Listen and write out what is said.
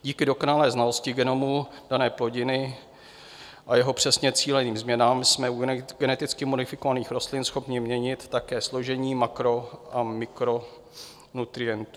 Díky dokonalé znalosti genomu dané plodiny a jeho přesně cíleným změnám jsme u geneticky modifikovaných rostlin schopni měnit také složení makro- a mikronutrientů.